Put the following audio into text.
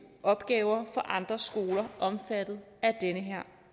opgaver for andre skoler omfattet af den her